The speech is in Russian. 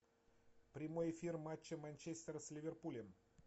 прямой эфир матча манчестер с ливерпулем